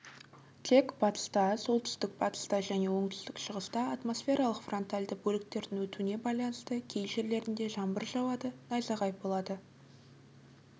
тек батыста солтүстік-батыста және оңтүстік-шығыста атмосфералық фронтальды бөліктердің өтуіне байланысты кей жерлерінде жаңбыр жауады найзағай болады